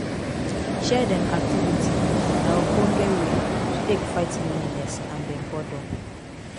shared um activity na ogbonge wey to take fight loneliness and um boredom